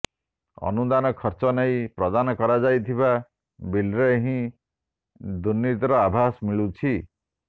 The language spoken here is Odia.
ଅନୁଦାନ ଖର୍ଚ୍ଚ ନେଇ ପ୍ରଦାନ କରାଯାଉଥିବା ବିଲ୍ରେ ହିଁ ଦୁର୍ନୀତିର ଆଭାସ ମିଳୁଛି